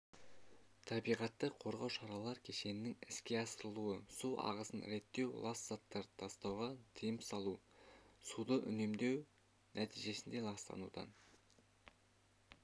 табиғатты қорғау шаралар кешенінің іске асырылуы су ағысын реттеу лас заттарды тастауға тиым салу суды үнемдеу нәтижесінде ластанудан